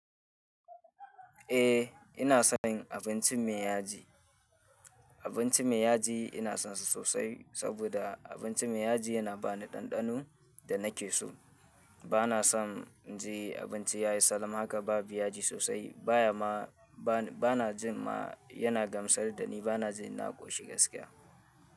Eh ina son abinci mai yaji. Abinci mai yaji ina son sa sosai saboda abinci mai yaji yana ba ni ɗanɗano da nake so. Bana son in jii abinci yayi salam haka babu yaji sosai baya ma ba na jin ma yana gamsar da ni bana jin na ƙoshi gaskiya.